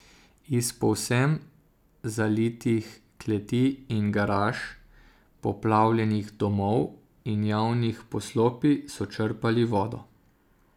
Iz povsem zalitih kleti in garaž, poplavljenih domov in javnih poslopij so črpali vodo.